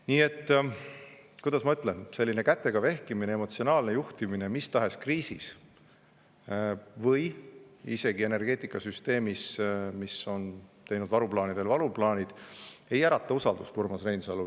Nii et, kuidas ma ütlen, selline kätega vehkimine, emotsionaalne juhtimine mis tahes kriisis, ja seda isegi energeetikasüsteemis, mis on teinud varuplaanidele varuplaanid, ei ärata usaldust, Urmas Reinsalu.